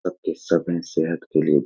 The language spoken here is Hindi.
पक्‍के सब है सेहत के लिए।